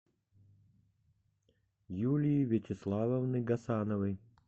юлии вячеславовны гасановой